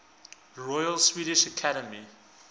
royal swedish academy